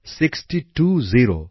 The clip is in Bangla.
sixty two zero